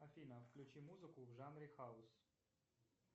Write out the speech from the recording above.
афина включи музыку в жанре хаус